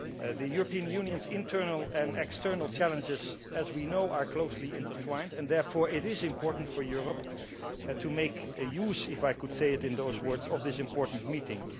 The European Union's internal and external challenges, as we know, are closely intertwined, and therefore it is important for Europe to make use if I can put it in those words of this important meeting.